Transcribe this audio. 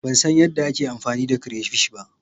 Ban san yadda ake amfani da crayfish ba.